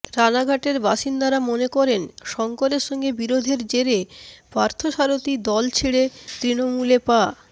রানাঘাটের বাসিন্দারা মনে করেন শঙ্করের সঙ্গে বিরোধের জেরে পার্থসারথি দল ছেড়ে তৃণমূলে পা